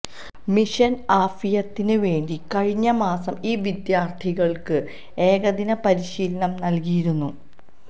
മിഷന് ആഫിയത്തിന് വേണ്ടി കഴിഞ്ഞ മാസം ഈ വിദ്യാര്ത്ഥികള്ക്ക് ഏകദിന പരിശീലനം നല്കിയിരുന്നു